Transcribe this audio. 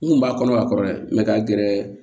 N kun b'a kɔnɔ ka kɔrɔ dɛ mɛ ka gɛrɛ